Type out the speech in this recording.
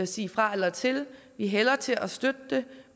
sige fra eller til vi hælder til at støtte det